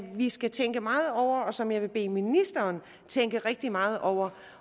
vi skal tænke meget over og som jeg vil bede ministeren tænke rigtig meget over